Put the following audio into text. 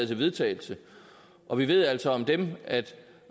til vedtagelse og vi ved altså om dem at